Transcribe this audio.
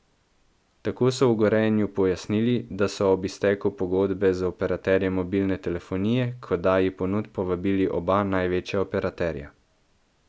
Tako so v Gorenju pojasnili, da so ob izteku pogodbe z operaterjem mobilne telefonije k oddaji ponudb povabili oba največja operaterja.